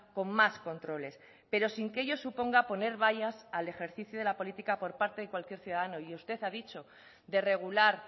con más controles pero sin que ello suponga poner vallas al ejercicio de la política por parte de cualquier ciudadano y usted ha dicho de regular